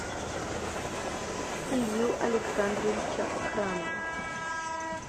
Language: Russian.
илью александровича храмова